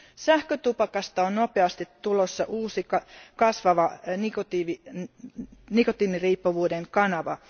Sähkötupakasta on nopeasti tulossa uusi kasvava nikotiiniriippuvuuden kanava.